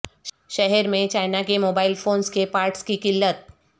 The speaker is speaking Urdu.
شہر میں چائنا کے موبائیل فونس کے پارٹس کی قلت